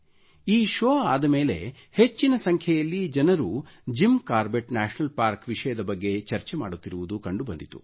ಈ ಶೋವ್ ಆದ ಮೇಲೆ ಹೆಚ್ಚಿನ ಸಂಖ್ಯೆಯಲ್ಲಿ ಜನರು ಜಿಮ್ ಕಾರ್ಬೆಟ್ ನ್ಯಾಶನಲ್ ಪಾರ್ಕ್ ವಿಷಯದ ಬಗ್ಗೆ ಚರ್ಚೆ ಮಾಡುತ್ತಿರುವುದು ಕಂಡು ಬಂದಿತು